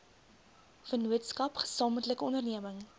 vennootskap gesamentlike onderneming